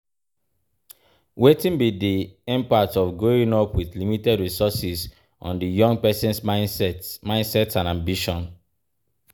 Wetin be di impact of growing up with limited resources on di young person's mindset mindset and ambition?